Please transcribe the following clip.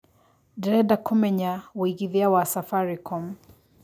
ndĩreda kũmenya wĩigĩthĩa wa safaricom